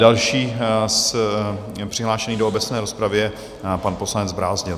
Další přihlášený do obecné rozpravy je pan poslanec Brázdil.